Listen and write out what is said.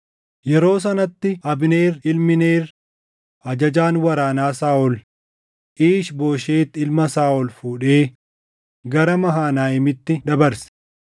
Yeroo sanatti Abneer ilmi Neer ajajaan waraanaa Saaʼol Iish-Booshet ilma Saaʼol fuudhee gara Mahanayiimitti dabarse.